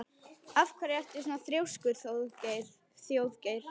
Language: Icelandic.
Af hverju ertu svona þrjóskur, Þjóðgeir?